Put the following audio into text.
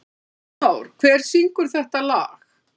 Arnór, hver syngur þetta lag?